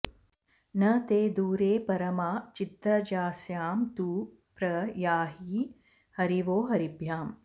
न ते दूरे परमा चिद्रजांस्या तु प्र याहि हरिवो हरिभ्याम्